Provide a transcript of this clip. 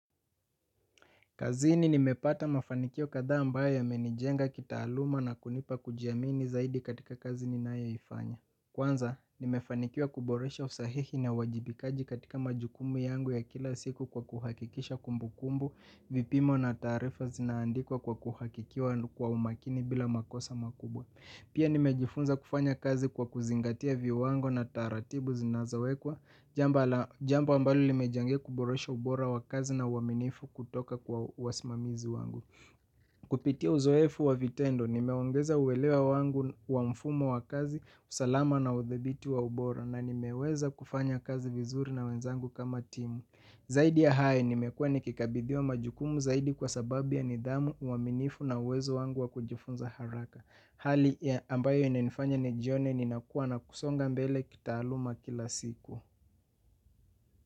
Kazini nimepata mafanikio kadhaa ambayo yameni jenga kitaaluma na kunipa kujiamini zaidi katika kazi ninayo ifanya. Kwanza, nime fanikiwa kuboresha usahihi na uajibikaji katika majukumu yangu ya kila siku kwa kuhakikisha kumbukumbu, vipimo na tarifa zina andikwa kwa kuhakikiwa kwa umakini bila makosa makubwa. Pia nimejifunza kufanya kazi kwa kuzingatia viwango na taratibu zinazowekwa, jambo ambalo lime changia kuboresha ubora wa kazi na uaminifu kutoka kwa wasimamizi wangu. Kupitia uzoefu wa vitendo, nimeongeza uwelewa wangu wa mfumo wakazi, usalama na udhibiti wa ubora na nimeweza kufanya kazi vizuri na wenzangu kama timu. Zaidi ya hayo nimekuwa nikikabidhiwa majukumu zaidi kwa sababu ya nidhamu uaminifu na uwezo wangu wa kujifunza haraka. Hali ambayo inaifanya ni jione ninakuwa na kusonga mbele kitaaluma kila siku.